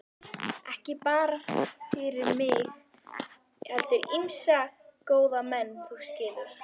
Ekki bara fyrir mig heldur ýmsa góða menn, þú skilur.